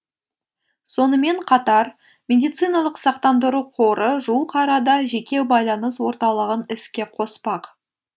сонымен қатар медициналық сақтандыру қоры жуық арада жеке байланыс орталығын іске қоспақ